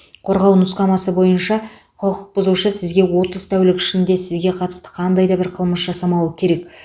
қорғау нұсқамасы бойынша құқық бұзушы сізге отыз тәулік ішінде сізге қатысты қандай да бір қылмыс жасамауы керек